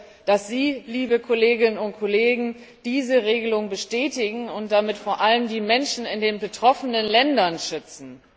Ich hoffe, dass Sie, liebe Kolleginnen und Kollegen, diese Regelung bestätigen und damit vor allem die Menschen in den betroffenen Ländern schützen.